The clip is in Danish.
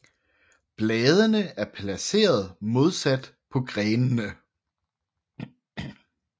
Bladene er placeret modsat på grenene